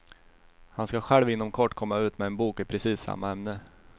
Han ska själv inom kort komma ut med en bok i precis samma ämne.